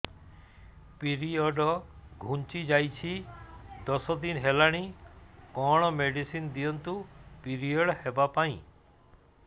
period ଘୁଞ୍ଚି ଯାଇଛି ଦଶ ଦିନ ହେଲାଣି କଅଣ ମେଡିସିନ ଦିଅନ୍ତୁ ପିରିଅଡ଼ ହଵା ପାଈଁ